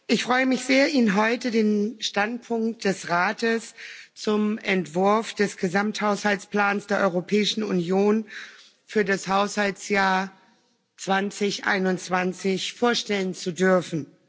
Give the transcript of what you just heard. Ich freue mich, Ihnen heute den Standpunkt des Rates zum Entwurf des Gesamthaushaltsplans der Europäischen Union für das Haushaltsjahr 2021 vorstellen zu dürfen.